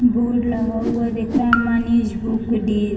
board लगा हुआ है देखिए मनीष बुक डी --